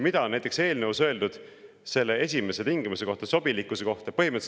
Mida on näiteks öeldud selle esimese tingimuse kohta, sobilikkuse kohta?